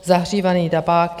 Zahřívaný tabák.